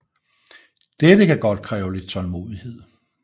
Dette kan godt kræve lidt tålmodighed